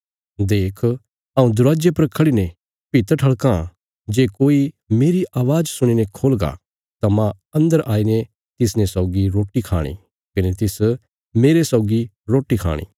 देख हऊँ दरवाजे पर खड़ीने भित ठल़काँ जे कोई मेरी अवाज़ सुणी ने खोलगा तां मांह अन्दर आईने तिसने सौगी रोटी खाणी कने तिस मेरे सौगी रोटी खाणी